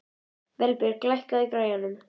Vébjörg, lækkaðu í græjunum.